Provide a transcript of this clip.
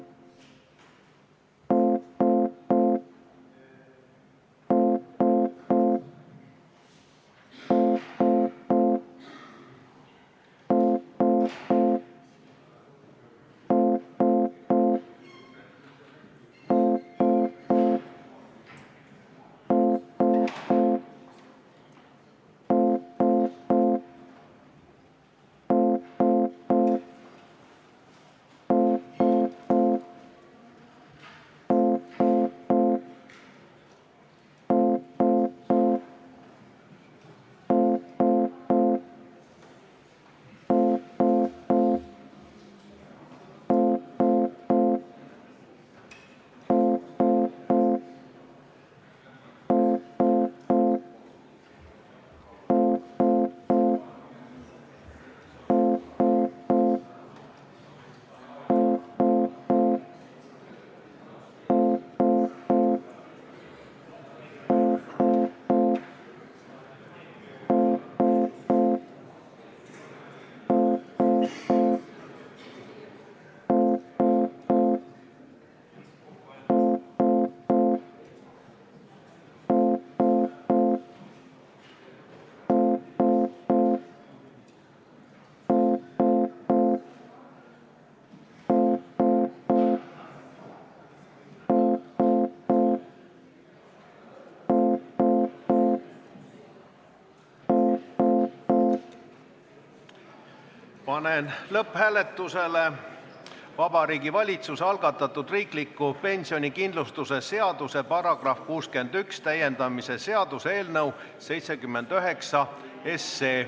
Panen lõpphääletusele Vabariigi Valitsuse algatatud riikliku pensionikindlustuse seaduse § 61 täiendamise seaduse eelnõu 79.